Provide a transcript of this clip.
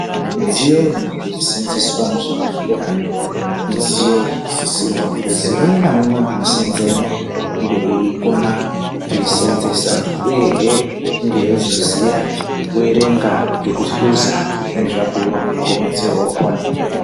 Midziyo inoseenzeswa muzvibhedhlera ,midziyo inosisirwa kuzi umwe naumwe unoseenzemwo, unge eikona kuiseenzesa, uyehe unge eizoziya kuerenga kekuhluza zvinezvabhuiwa ngemudziyo wakhona.